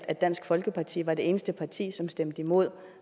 at dansk folkeparti var det eneste parti som stemte imod